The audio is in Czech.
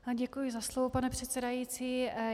Děkuji za slovo, pane předsedající.